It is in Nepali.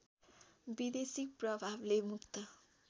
विदेशी प्रभावले मुक्त